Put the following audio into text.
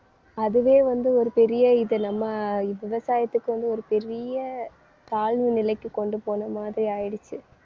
அதுவே வந்து ஒரு பெரிய இது நம்ம விவசாயத்துக்கு வந்து ஒரு பெரிய தாழ்வு நிலைக்கு கொண்டு போன மாதிரி ஆயிடுச்சு.